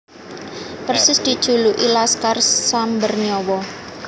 Persis dijuluki Laskar Samber Nyawa